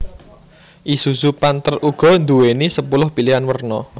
Isuzu Panther uga nduwéni sepuluh pilihan werna